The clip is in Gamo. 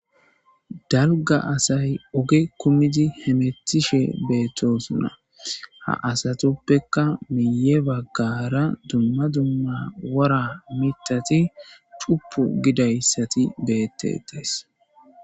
dalga asay oge kummidi hemethishe beettosona ha asatuppekka miye baggara dumma dumma wora mitati chupu gidayssati beettetays